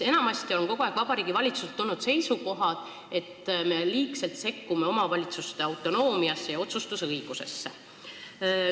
Enamasti on Vabariigi Valitsusest tulnud seisukoht, et me liigselt sekkume omavalitsuste autonoomiasse ja otsustusõigusesse.